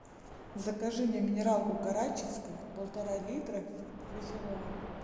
закажи мне минералку карачинская полтора литра газированную